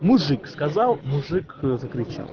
мужик сказал мужик закричал